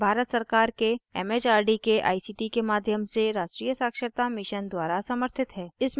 यह भारत सरकार के it it आर डी के आई सी टी के माध्यम से राष्ट्रीय साक्षरता mission द्वारा समर्थित है